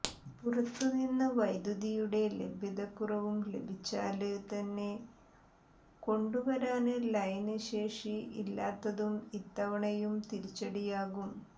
പുറത്തു നിന്നുള്ള വൈദ്യുതിയുടെ ലഭ്യതക്കുറവും ലഭിച്ചാല് തന്നെ കൊണ്ടുവരാന് ലൈന് ശേഷി ഇല്ലാത്തതും ഇത്തവണയും തിരിച്ചടിയാകും